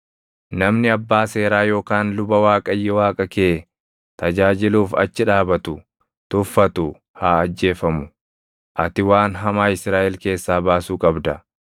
Namni abbaa seeraa yookaan luba Waaqayyo Waaqa kee tajaajiluuf achi dhaabatu tuffatu haa ajjeefamu. Ati waan hamaa Israaʼel keessaa baasuu qabda.